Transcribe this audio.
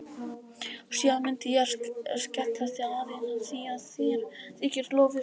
Síðan myndi ég skjalla þig aðeins af því að þér þykir lofið svo gott.